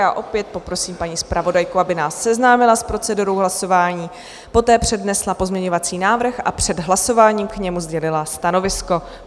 Já opět poprosím paní zpravodajku, aby nás seznámila s procedurou hlasování, poté přednesla pozměňovací návrh a před hlasováním k němu sdělila stanovisko.